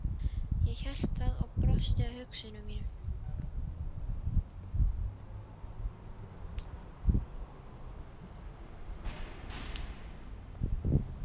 Ég hélt það og brosti að hugsunum mínum.